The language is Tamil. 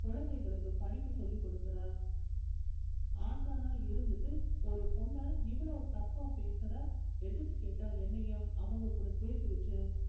குழந்தைகளுக்கு படிப்பு சொல்லி கொடுக்கிற ஆசானா இருந்துட்டு ஒரு பொண்ண எவ்வளோ தப்பா பேசுற எதிர்த்து கேட்டா என்னையும் அவங்க கூட சேர்த்து வச்சு